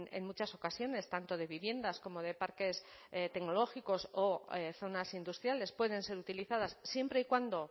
en muchas ocasiones tanto de viviendas como de parques tecnológicos o zonas industriales pueden ser utilizadas siempre y cuando